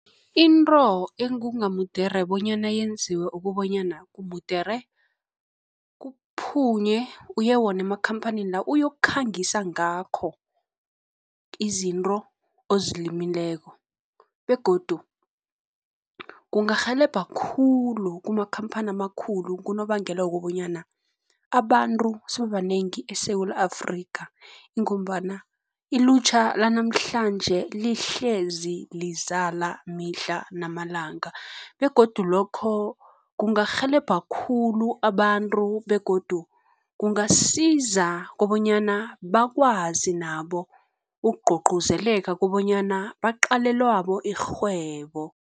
Into ekungamudere bonyana yenziwe ukobanyana, mudere kuphunywe kuye wona emakhamphanini la, uyokukhangisa ngakho izinto ozilimiseko, begodu kungarhelebha khulu kumakhamphani amakhulu kunobangela wokobanyana abantu sebabanengi eSewula Afrika, ingombana ilutjha lanamhlanje lihlezi lizala mihla namalanga, begodu lokho kungarhelebha khulu abantu, begodu kungasiza kobanyana bakwazi nabo ukugcugcuzeleka kobanyana baqale labo irhwebo.